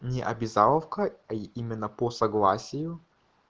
не обязаловка именно по согласию